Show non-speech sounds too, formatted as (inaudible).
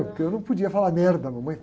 Porque eu não podia falar, (unintelligible) mamãe.